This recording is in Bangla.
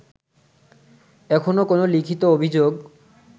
এখনো কোনো লিখিত অভিযোগ